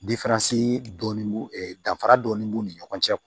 dɔɔnin b'u danfara dɔɔni b'u ni ɲɔgɔn cɛ